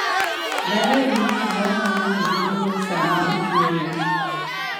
Daher winjo mor ma ng'ato bedogo sama ochuoyo.